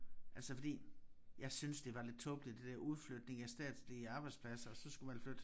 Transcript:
Altså fordi jeg synes det var lidt tåbeligt det der udflytning af statslige arbejdspladser og så skulle man flytte